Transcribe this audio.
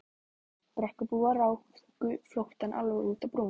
Brekkubúar ráku flóttann alveg út á brú.